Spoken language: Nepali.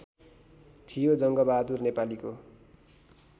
थियो जंङ्गबहादुर नेपालीको